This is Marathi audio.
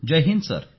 जय हिंद सर